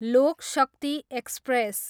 लोक शक्ति एक्सप्रेस